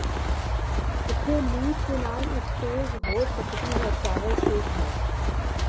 ਇੱਥੇ ਮੀਟ ਦੇ ਨਾਲ ਇੱਕ ਤੇਜ਼ ਹੋ ਸਕਦੀ ਹੈ ਚਾਵਲ ਸੂਪ ਹੈ